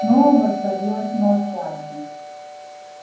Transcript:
снова воцарилось молчание